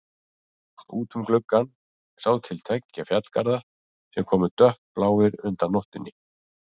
Út um gluggann sá til tveggja fjallgarða sem komu dökkbláir undan nóttunni.